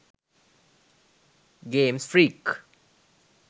games freak